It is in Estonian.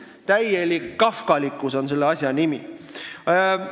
Täielik kafkalikkus on selle asja nimi!